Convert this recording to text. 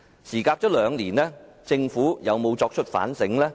事隔兩年，政府有否作出反省？